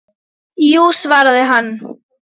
Jú svaraði hann.